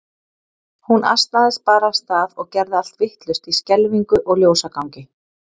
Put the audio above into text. Hún asnaðist bara af stað og gerði allt vitlaust í skelfingu og ljósagangi.